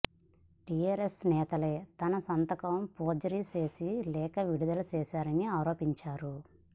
TRS నేతలే తన సంతకం ఫోర్జరీ చేసి లేఖ విడుదల చేశారని ఆరోపించారు